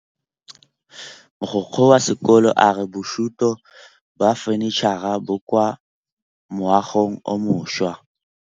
Mogokgo wa sekolo a re bosutô ba fanitšhara bo kwa moagong o mošwa.